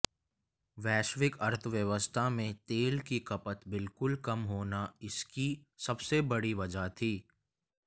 वैश्विक अर्थव्यवस्था में तेल की खपत बिल्कुल कम होना इसकी सबसे बड़ी वजह थी